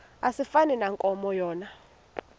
asifani nankomo yona